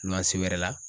Ntolan se wɛrɛ la